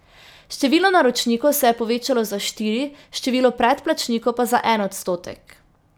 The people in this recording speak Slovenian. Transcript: Število naročnikov se je povečalo za štiri, število predplačnikov pa za en odstotek.